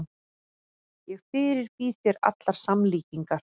Ég fyrirbýð þér allar samlíkingar.